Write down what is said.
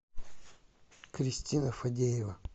кристина фадеева